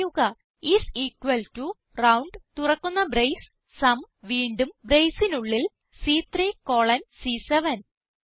type ചെയ്യുക IS equal to round തുറക്കുന്ന brace സും വീണ്ടും braceനുള്ളിൽ സി3 കോളൻ സി7